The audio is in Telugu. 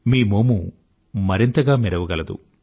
మీ మోము మరింతగా మెరవగలదు